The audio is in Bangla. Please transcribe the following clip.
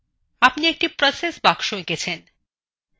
আপনি একটি process box এঁকেছেন